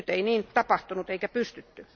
Nyt ei niin tapahtunut eikä pystytty.